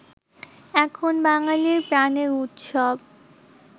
এখন বাঙালির প্রাণের উৎসব